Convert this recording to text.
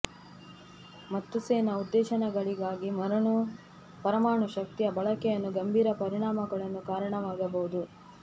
ಮತ್ತು ಸೇನಾ ಉದ್ದೇಶಗಳಿಗಾಗಿ ಪರಮಾಣು ಶಕ್ತಿಯ ಬಳಕೆಯನ್ನು ಗಂಭೀರ ಪರಿಣಾಮಗಳನ್ನು ಕಾರಣವಾಗಬಹುದು